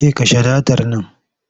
Ke kashe datar nan!